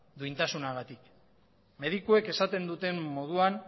duintasunagatik medikuek esaten duten moduan